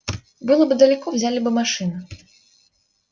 было бы далеко взяли бы машину